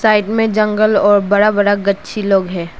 Side में जंगल और बड़ा बड़ा गच्छी लोग है।